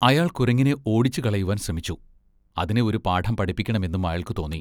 അയാൾ കുരങ്ങിനെ ഓടിച്ചുകളയുവാൻ ശ്രമിച്ചു. അതിനെ ഒരു പാഠം പഠിപ്പിക്കണമെന്നും അയാൾക്ക്‌ തോന്നി.